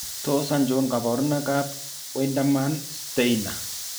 Tos achon kabarutik ab Wiedemann Steiner ?